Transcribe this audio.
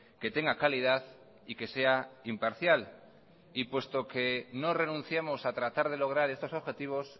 que tenga calidad y que sea imparcial y puesto que no renunciamos a tratar de lograr estos objetivos